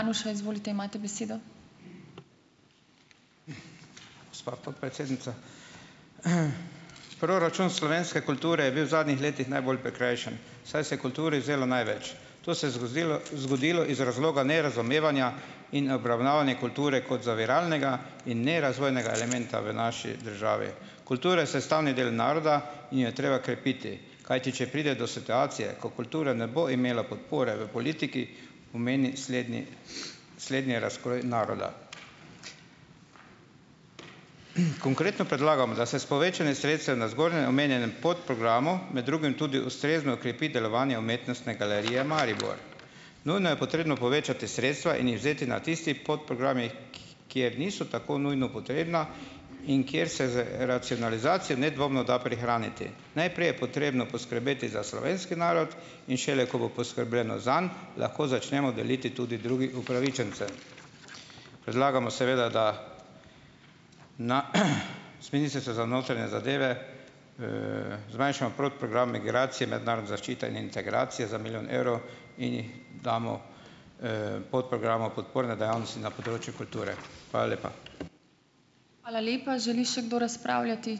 Gospa podpredsednica. Proračun slovenske kulture je bil v zadnjih letih najbolj prikrajšan, saj se je kulturi vzelo največ. To se je zgodilo zgodilo iz razloga nerazumevanja in obravnavanja kulture kot zaviralnega in ne razvojnega elementa v naši državi. Kultura je sestavni del naroda in jo je treba krepiti. Kajti če pride do situacije, ko kultura ne bo imela podpore v politiki, pomeni slednji slednje razkroj naroda. Konkretno predlagam, da se s povečanjem sredstev na zgoraj omenjenem podprogramu med drugim tudi ustrezno krepi delovanje Umetnostne galerije Maribor. Nujno je potrebno povečati sredstva in jih vzeti na tistih podprogramih, kjer niso tako nujno potrebna in kjer se z racionalizacijo nedvomno da prihraniti. Najprej je potrebno poskrbeti za slovenski narod, in šele ko bo poskrbljeno zanj, lahko začnemo deliti tudi drugi upravičencem. Predlagamo seveda da na z Ministrstva za notranje zadeve, zmanjšamo podprogram Migracije, mednarodna zaščita in integracije za milijon evrov in jih damo, podprogramu Podporne dejavnosti na področju kulture. Hvala lepa.